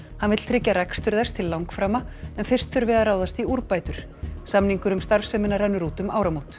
hann vill tryggja rekstur þess til langframa en fyrst þurfi að ráðast í úrbætur samningur um starfsemina rennur út um áramót